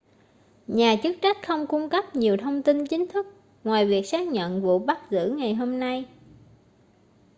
nhà chức trách không cung cấp nhiều thông tin chính thức ngoài việc xác nhận vụ bắt giữ ngày hôm nay